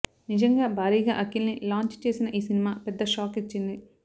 నిజంగా భారీగా అఖిల్ని లాంఛ్ చేసిన ఈ సినిమా పెద్ద షాక్ ఇచ్చింది